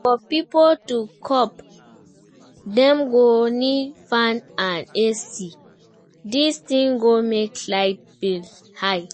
For pipo to cope, dem go need fan and ac, this things go make light bill high